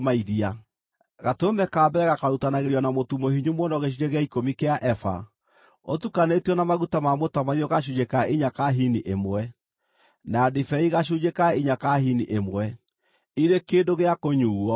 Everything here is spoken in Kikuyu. Gatũrũme ka mbere gakarutanagĩrio na mũtu mũhinyu mũno gĩcunjĩ gĩa ikũmi kĩa eba ũtukanĩtio na maguta ma mũtamaiyũ gacunjĩ ka inya ka hini ĩmwe na ndibei gacunjĩ ka inya ka hini ĩmwe, irĩ kĩndũ gĩa kũnyuuo.